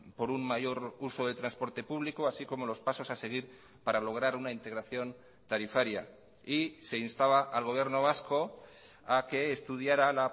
por un mayor uso de transporte público así como los pasos a seguir para lograr una integración tarifaria y se instaba al gobierno vasco a que estudiara